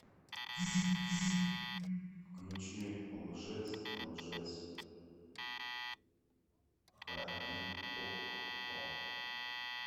включи лжец лжец ха ди окко